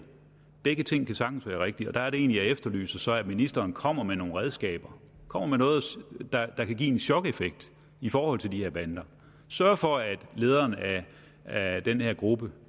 begge ting kan sagtens være rigtige og der er det egentlig jeg så efterlyser at ministeren kommer med nogle redskaber kommer med noget der kan give en chokeffekt i forhold til de her bander sørger for at lederen af den her gruppe